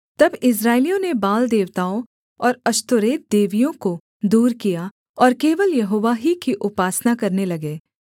तब इस्राएलियों ने बाल देवताओं और अश्तोरेत देवियों को दूर किया और केवल यहोवा ही की उपासना करने लगे